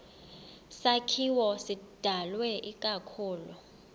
sakhiwo sidalwe ikakhulu